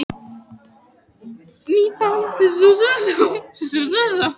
Ekki þýðir að hringja í lögregluna í svona veðri.